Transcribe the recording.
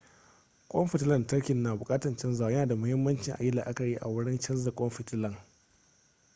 kwan fitilan lantarkin na bukatan canzawa yana da muhimmanci ayi la'akari wurin canza kwan fitilan